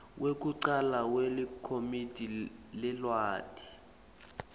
wekucala welikomidi leliwadi